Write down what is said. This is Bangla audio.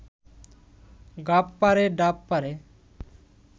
গাব পাড়ে, ডাব পাড়ে